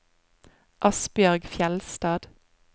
Asbjørg Fjeldstad